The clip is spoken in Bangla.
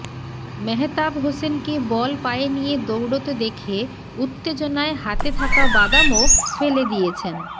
মেহেতাব হোসেনকে বল পায়ে নিয়ে দৌড়তে দেখে উত্তেজনায় হাতে থাকা বাদামও ফেলে দিয়েছেন